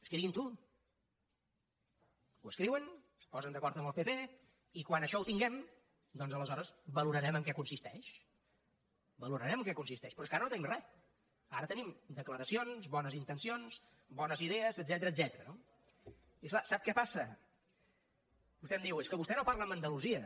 escriguinho ho escriuen es posen d’acord amb el pp i quan això ho tinguem doncs aleshores valorarem en què consisteix valorarem en què consisteix però és que ara no tenim res ara tenim declaracions bones intencions bones idees etcètera no i és clar sap què passa vostè em diu és que vostè no parla amb andalusia